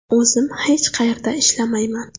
O‘zim hech qayerda ishlamayman.